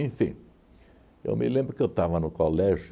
eu me lembro que eu estava no colégio,